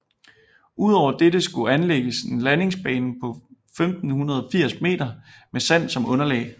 Udover dette skulle de anlægges en landingsbane på 1580 meter med sand som underlag